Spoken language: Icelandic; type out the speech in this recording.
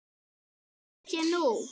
Það held ég nú.